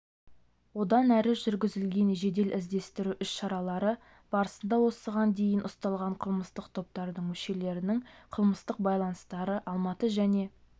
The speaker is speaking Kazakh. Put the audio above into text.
одан әрі жүргізілген жедел-іздестіру іс-шаралары барысында осыған дейін ұсталған қылмыстық топтардың мүшелерінің қылмыстық байланыстары алматы және